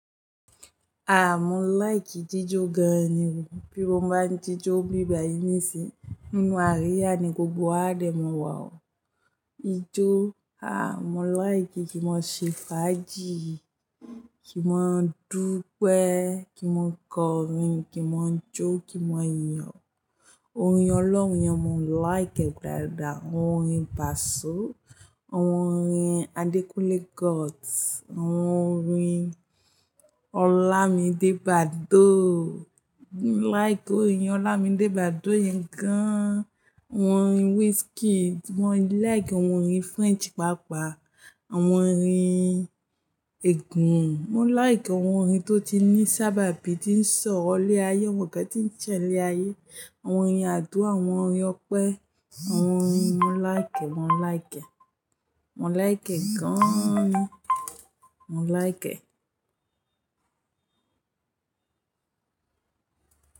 Aah, mo like jijó gan ni o. Bí mo bá ń jijó nbí bàyìí nísìí, nínú àríyá ni gbogbo àádẹ̀ mọ̀ wà ọ́ ijó. Aah, mo like kí n máa ṣe fàájì, kí n máa dúpẹ́, kí n máa kọrin, kí n máa jó, kí n máa yo. Orin ọlọ́run, ìyẹn mo like ẹ dáadáa, àwọn orin pàṣọ, àwọn orin Adekunle Gold, àwọn orin Olamide Badoo. Mo like orin Olamide Badoo yẹn gan an. Àwọn orin Wizkid, mo like àwọn orin French pàápàá, àwọn orin ẹ̀gún. Mo like àwọn orin tó ti ní sábàbí tí ń sọ̀rọ̀ ilé ayé, àwọn nǹkan tí ń ṣẹlẹ̀ ayé, àwọn orin àdúrà, àwọn orin ọpẹ́, àwọn orin mo like ẹ, mo like ẹ, mo like ẹ gan an ni, mo like ẹ.